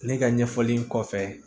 Ne ka ɲɛfɔli kɔfɛ